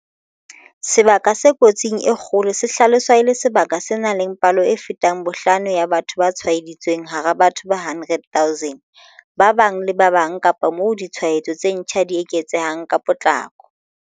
Sebaka se kotsing e kgolo se hlaloswa e le sebaka se nang le palo e fetang bohlano ya batho ba tshwaeditsweng hara batho ba 100 000 ba bang le ba bang kapa moo ditshwaetso tse ntjha di eketsehang ka potlako.